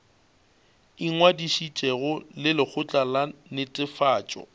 ingwadišitšego le lekgotla la netefatšo